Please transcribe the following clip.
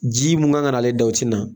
Ji mun kan ka nalen da o tɛ na